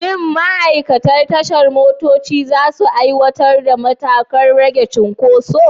Shin ma'aikatan tashar motoci za su aiwatar da matakan rage cunkoso?